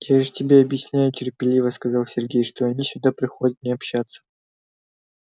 я же тебе объясняю терпеливо сказал сергей что они сюда приходят не общаться